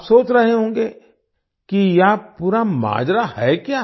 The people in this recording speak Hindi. आप सोच रहे होंगे कि यह पूरा माजरा है क्या